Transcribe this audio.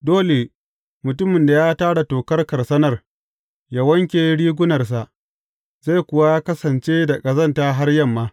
Dole mutumin da ya tara tokar karsanar yă wanke rigunarsa, zai kuwa kasance da ƙazanta har yamma.